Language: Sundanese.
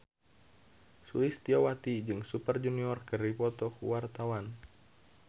Sulistyowati jeung Super Junior keur dipoto ku wartawan